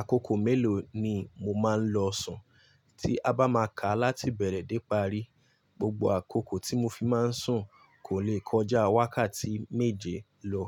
Àkókò mélòó ni mo máa ń lọ sùn? Tí a bá máa ká láti bẹ̀rẹ̀ dé parí, gbogbo àkókò tí mo fi máa ń sùn kò lè kọjá wákàtí méje lọ